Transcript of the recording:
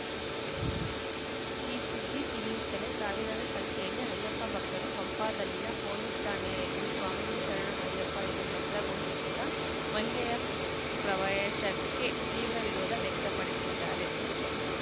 ಫ್ ಈ ಸುದ್ದಿ ತಿಳಿಯುತ್ತಲೇ ಸಾವಿರಾರು ಸಂಖ್ಯೆಯಲ್ಲಿ ಅಯ್ಯಪ್ಪ ಭಕ್ತರು ಪಂಪಾದಲ್ಲಿನ ಪೊಲೀಸ್‌ ಠಾಣೆಯ ಎದುರು ಸ್ವಾಮಿಯೇ ಶರಣಂ ಅಯ್ಯಪ್ಪ ಎಂದು ಮಂತ್ರ ಘೋಷಿಸುತ್ತಾ ಮಹಿಳೆಯ ಪ್ರವೇಶಕ್ಕೆ ತೀವ್ರ ವಿರೋಧ ವ್ಯಕ್ತಪಡಿಸಿದ್ದಾರೆ